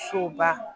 Soba